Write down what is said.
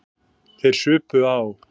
Þeir supu á.